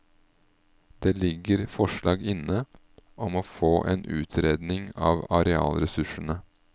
Det ligger forslag inne om å få en utredning av arealressursene.